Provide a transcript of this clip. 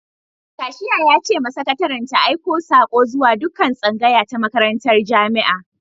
Kashiya ya ce ma sakataren ta aika sako zuwa dukkan tsngaya ta makarantar jami'a.